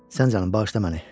Sən canın bağışla məni.